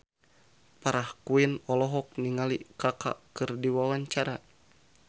Farah Quinn olohok ningali Kaka keur diwawancara